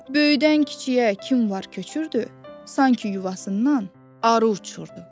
Böyüdən kiçiyə kim var köçürdü, sanki yuvasından arı uçurdu.